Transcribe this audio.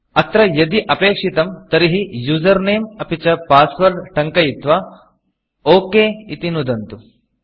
अत्र यदि अपेक्षितं तर्हि यूजर Nameयुसर् नेम् अपि च Passwordपास्वर्ड् टङ्कयित्वा OKओके इति नुदन्तु